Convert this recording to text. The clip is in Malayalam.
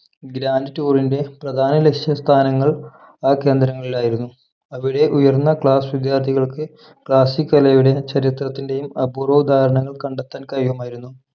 grand tour ന്റെ പ്രധാന ലക്ഷ്യസ്ഥാനങ്ങൾ ആ കേന്ദ്രങ്ങളിലായിരുന്നു അവിടെ ഉയർന്ന class വിദ്യാർത്ഥികൾക്ക് classic കലയുടെയും ചരിത്രത്തിന്റെയും അപൂർവ ഉദാഹരണങ്ങൾ കണ്ടെത്താൻ കഴിയുമായിരുന്നു